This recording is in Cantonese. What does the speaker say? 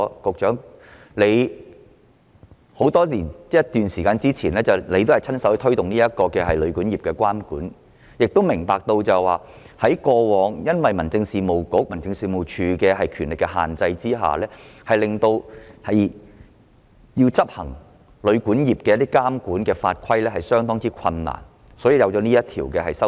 局長多年前曾親自推動旅館業的監管，明白過往民政事務局及民政事務總署由於權力所限，因此在執行旅館業的監管法規時面對相當困難，所以才衍生出《條例草案》。